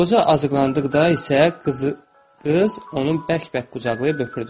Qoca azıqlandıqda isə qız onu bərk-bərk qucaqlayıb öpürdü.